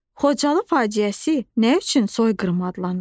Xocalı faciəsi nə üçün soyqırım adlanır?